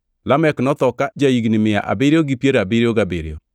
Lamek notho kane ja-higni mia abiriyo gi piero abiriyo gabiriyo.